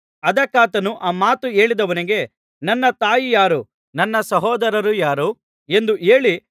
ಅದಕ್ಕಾತನು ಆ ಮಾತು ಹೇಳಿದವನಿಗೆ ನನ್ನ ತಾಯಿ ಯಾರು ನನ್ನ ಸಹೋದರರು ಯಾರು ಎಂದು ಹೇಳಿ